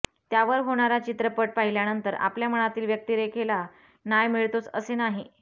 त्यावर होणारा चित्रपट पाहिल्यानंतर आपल्या मनातील व्यक्तीरेखेला न्याय मिळतोच असे नाही